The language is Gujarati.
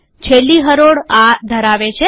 છેલ્લી હરોળ આ ધરાવે છે